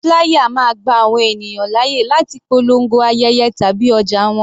Flier máa gba àwọn ènìyàn láyè láti polongo ayẹyẹ tàbí ọjà wọn.